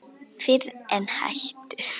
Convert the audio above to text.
Fyrr en það hættir.